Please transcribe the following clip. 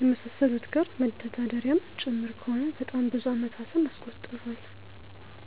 የመሳሰሉት ጋር መተዳደሪያም ጭምር ከሆነ በጣም ብዙ አመታትን አስቆጥሯል።